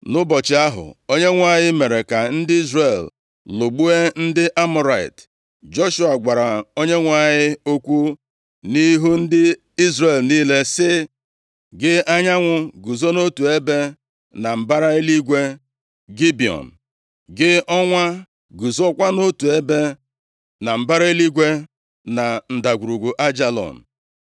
Nʼụbọchị ahụ, Onyenwe anyị mere ka ndị Izrel lụgbuo ndị Amọrait. Joshua gwara Onyenwe anyị okwu nʼihu ndị Izrel niile sị, “Gị, anyanwụ, guzo nʼotu ebe na mbara eluigwe Gibiọn. Gị, ọnwa, guzokwa nʼotu ebe na mbara eluigwe na Ndagwurugwu Aijalon”